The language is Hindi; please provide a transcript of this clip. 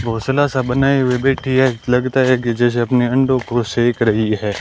भोसला सा बनाई हुई बैठी है लगता है कि जैसे अपने अंडों को सेक रही है।